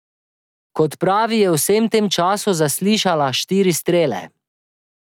Kot pravi je v vsem tem času zaslišala štiri strele.